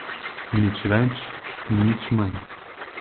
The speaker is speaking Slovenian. Nič več in nič manj.